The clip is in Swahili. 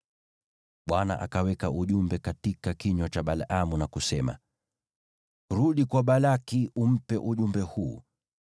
Bwana akaweka ujumbe katika kinywa cha Balaamu na kusema, “Rudi kwa Balaki umpe ujumbe huu.”